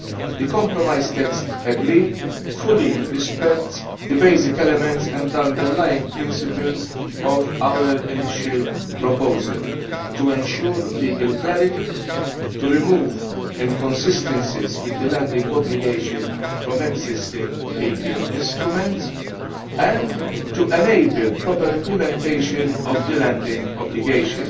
The compromise text agreed fully respects the basic elements and underlying principles of our initial proposal to ensure legal clarity, to remove inconsistencies with the landing obligation from existing legal instruments, and to enable proper implementation of the landing obligation.